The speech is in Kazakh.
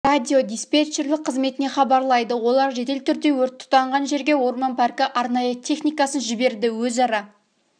радиодиспетчерлік қызметіне хабарлайды олар жедел түрде өрт тұтанған жерге орман паркі арнайы техникасын жіберді өзара